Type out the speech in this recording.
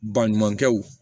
Baɲumankɛw